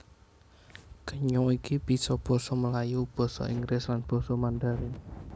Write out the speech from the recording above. Kenya iki bisa basa Melayu basa Inggris lan basa Mandharin